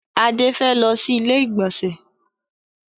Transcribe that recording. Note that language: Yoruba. Adé fẹ́ lọ sí ilé ìgbọ̀nsẹ̀.